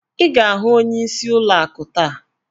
Ị ga-ahụ ọnyeisi ụlọ akụ taa!